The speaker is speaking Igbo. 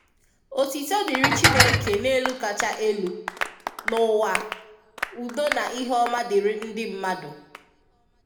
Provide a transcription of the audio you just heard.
Ọ̀títọ̀ dịrị Chineke n’elu kacha elu, n’ụwa ùdọ̀ na ihe ọma dịrị ndị mmadu.